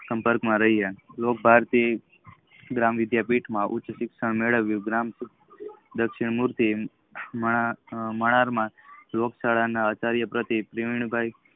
સંપર્ક માં રહિયા લોકો ભારતી ય ગ્રામીય વિધિયાં પીઠ માં ઉચ્ચ શિક્ષણ મેળવીઉ ગ્રામ્ય દક્ષિણ મલાડ માં રોન્ગ ચલના આચલય પતિ પ્રવિત ભાઈ